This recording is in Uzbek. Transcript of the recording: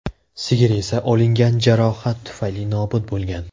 Sigir esa olingan jarohat tufayli nobud bo‘lgan.